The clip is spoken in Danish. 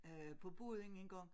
Øh på båden engang